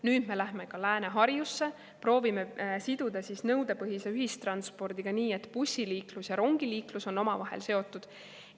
Nüüd me läheme ka Lääne-Harjusse, proovime siduda nõudepõhise ühistranspordi nii, et bussiliiklus ja rongiliiklus on omavahel seotud.